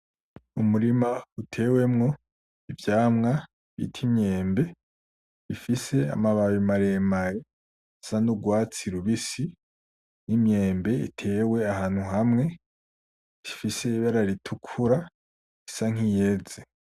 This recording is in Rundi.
Umurima utewemwo, ivyamwa bita imyembe ,bifise amababi maremare saa n’urwatsi rubisi ,n'Imyembe itewe ahantu hamwe ifise ibara ritukura isa nkiyeze.